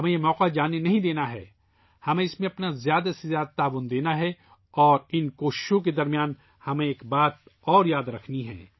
ہمیں اس میں اپنا زیادہ سے زیادہ تعاون دینا ہے اور ان کوششوں کے بیچ ہمیں ایک بات اور یاد رکھنی ہے